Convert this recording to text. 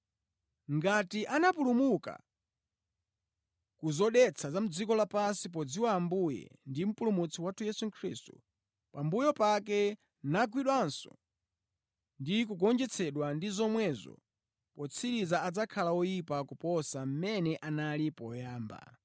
Ngati anapulumuka ku zodetsa za dziko lapansi podziwa Ambuye ndi Mpulumutsi wathu Yesu Khristu, pambuyo pake nagwidwanso ndi kugonjetsedwa ndi zomwezo, potsiriza adzakhala oyipa kuposa mmene analili poyamba.